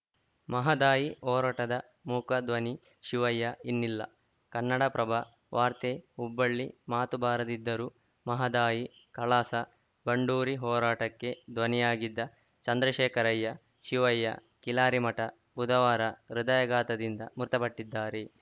ಮಹದಾಯಿ ಹೋರಾಟದ ಮೂಕ ಧ್ವನಿ ಶಿವಯ್ಯ ಇನ್ನಿಲ್ಲ ಕನ್ನಡಪ್ರಭ ವಾರ್ತೆ ಹುಬ್ಬಳ್ಳಿ ಮಾತು ಬಾರದಿದ್ದರೂ ಮಹದಾಯಿ ಕಳಾಸ ಬಂಡೂರಿ ಹೋರಾಟಕ್ಕೆ ಧ್ವನಿಯಾಗಿದ್ದ ಚಂದ್ರಶೇಖರಯ್ಯ ಶಿವಯ್ಯ ಕಿಲಾರಿಮಠ ಬುಧವಾರ ಹೃದಯಾಘಾತದಿಂದ ಮೃತಪಟ್ಟಿದ್ದಾರೆ